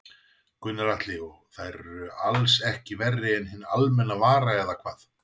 Gunnar Atli: Og þær eru alls ekki verri en hinn almenna vara eða hvað?